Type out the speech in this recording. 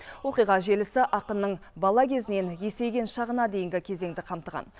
оқиға желісі ақынның бала кезінен есейген шағына дейінгі кезеңді қамтыған